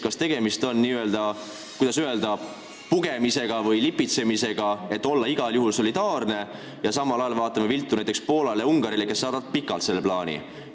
Kas tegemist on, kuidas öeldagi, pugemise või lipitsemisega, et olla igal juhul solidaarne, ja samal ajal me vaatame viltu näiteks Poolale ja Ungarile, kes saadavad selle plaani pikalt?